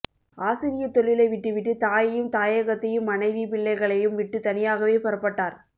ஆசிரியத் தொழிலை விட்டு விட்டு தாயையும் தாயகத்தையும் மனைவி பிள்ளைகளையும் விட்டு தனியாகவே புறப்பட்டார்